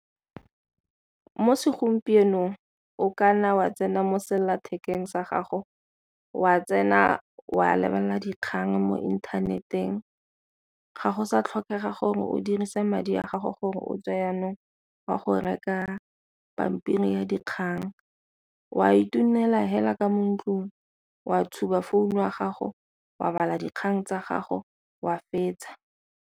Mo segompienong o ka nna wa tsena mo sellathekeng sa gago o a tsena o a lebelela dikgang mo inthaneteng, ga go sa tlhokege gore o dirise madi a gago gore o tswe jaanong o'a go reka pampiri ya dikgang. O a fela ka mo ntlong wa tshuba founu ya gago o a bala dikgang tsa gago wa fetsa.